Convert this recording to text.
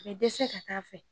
A bɛ dɛsɛ ka taa fɛ